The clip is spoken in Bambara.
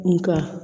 Nka